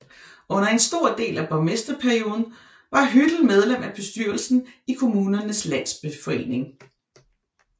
Under en stor del af borgmesterperioden var Hüttel medlem af bestyrelsen i Kommunernes Landsforening